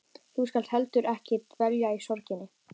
Þú skalt heldur ekki dvelja í sorginni.